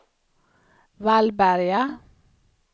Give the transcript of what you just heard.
Vallberga